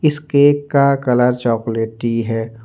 इस केक का कलर चॉकलेटी है।